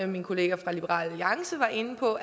min kollega fra liberal alliance var inde på